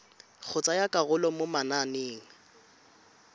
go tsaya karolo mo mananeng